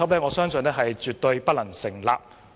我相信這邏輯絕對不能成立。